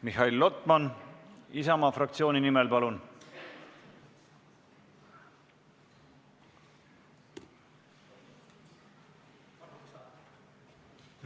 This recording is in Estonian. Mihhail Lotman Isamaa fraktsiooni nimel, palun!